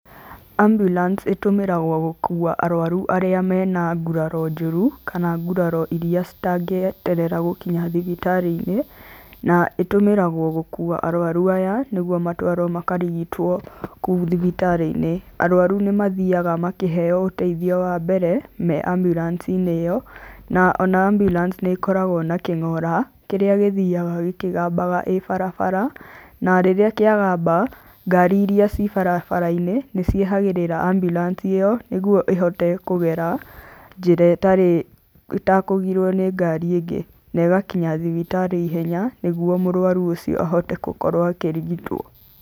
Ambulance ĩtũmĩragwo gũkua arwaru arĩa mena nguraro njũru, kana nguraro iria citangĩeterera gũkinya thibitarĩ-inĩ. Na ĩtũmĩragwo gũkua arwaru aya nĩguo matwarwo makarigitwo kũu thibitari-inĩ. Arwaru nĩmathiaga makĩheo ũteithio wa mbere me Ambiurancinĩ ĩyo. Na ona Ambulance nĩ ĩkoragwo na kĩng'ora, kĩrĩa gĩthiaga gĩkĩgambaga ĩ barabara. Na rĩrĩa kĩagamba, ngari iria ci barabara-inĩ nĩcieheragĩrĩra Ambulance ĩo, nĩguo ĩhote kũgera njĩra ĩtarĩ, ĩtakũgirwo nĩ ngari ĩngĩ, na ĩgakinya thibitarĩ ihenya, nĩguo mũrwaru ucio ahote gũkorwo akĩrigitwo.